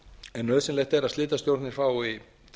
en nauðsynlegt er að slitastjórnir fái